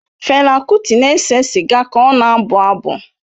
Fela Kuti na-ese sịga ka ọ na-abụ abụ.